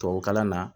Tubabukalan na